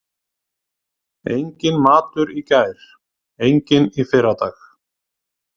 Enginn matur í gær, enginn í fyrradag.